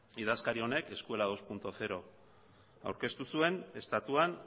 idazkari honek escuela bi puntu zero aurkeztu zuen estatuan